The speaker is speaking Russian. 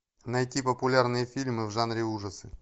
найти популярные фильмы в жанре ужасы